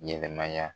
Ɲɛnɛmaya